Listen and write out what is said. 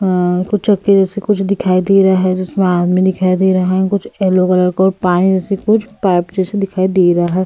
कुछ चक्के जैसे कुछ दिखाई दे रहा है जिसमें आदमी दिखाई दे रहे हैं कुछ येलो कलर का और पानी जैसे कुछ पाइप जैसे दिखाई दे रहा है।